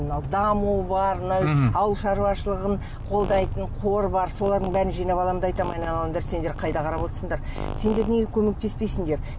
мынау даму бар мына ауыл шаруашылығын қолдайтын қор бар солардың бәрін жинап аламын да айтамын айналайындар сендер қайда қарап отырсыңдар сендер неге көмектеспейсіндер